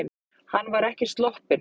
Hann var ekki sloppinn.